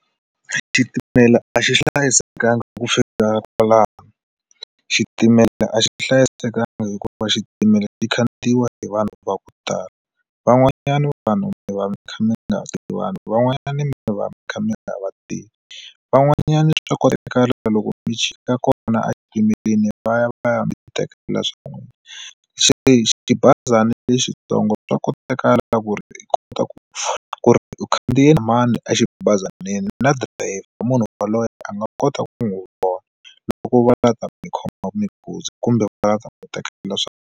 Xitimela a xi hlayisekangi hi ku fika kwalano xitimela a xi hlayisekanga hikuva xitimela xi khandziya hi vanhu va ku tala van'wanyana vanhu mi va mi kha mi nga tivani van'wanyana mi va mi kha mi nga vativi van'wanyana swa koteka loko mi chika kona exitimeleni va ya va ya mi xiteka la swan'wina se xibazana lexitsongo swa koteka leswaku ri ku ngopfu ku ri u khandziya na mani a xibazana swinene na dirayivha munhu loyi a nga kota ku n'wi vona loko va la ta mi khomaka kumbe va nga ta n'wi teka .